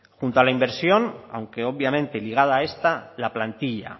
junto a la inversión aunque obviamente ligada a esta la plantilla